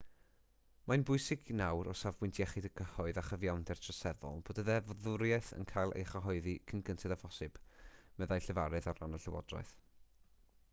mae'n bwysig nawr o safbwynt iechyd y cyhoedd a chyfiawnder troseddol bod y ddeddfwriaeth yn cael ei chyhoeddi cyn gynted â phosibl meddai llefarydd ar ran y llywodraeth